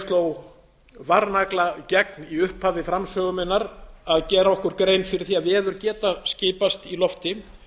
sló varnagla gegn í upphafi framsögu minnar að gera okkur grein fyrir því að veður geta skipast í lofti